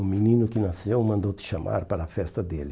O menino que nasceu mandou te chamar para a festa dele.